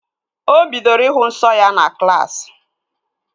O bidoro ịhụ nsọ ya na klaasị